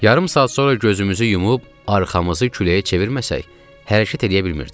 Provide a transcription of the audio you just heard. Yarım saat sonra gözümüzü yumub arxamızı küləyə çevirməsək, hərəkət eləyə bilmirdik.